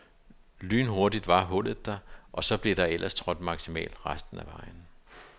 Lynhurtigt var hullet der, og så blev der ellers trådt maksimalt resten af vejen.